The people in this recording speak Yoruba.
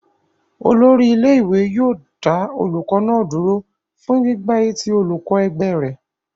Olórí ilé-ìwé yóò dá olùkọ́ náà dúró fún gbígbá etí olùkọ́ ẹgbẹ́ rẹ̀.